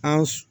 An